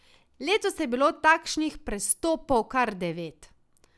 Letos je bilo takšnih prestopov kar devet.